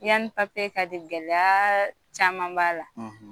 Yani ka di gɛlɛya caman b'a la